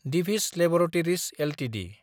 Divi's laboratories Ltd